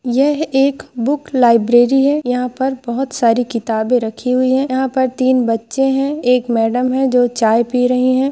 यह एक book library है यहा पर बहुत सारी किताबे रखी हुई है यहा पर तीन बच्चे है एक मॅडम है जो चाय पी रहे है।